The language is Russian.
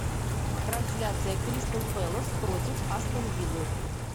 трансляция кристал пэлас против астон виллы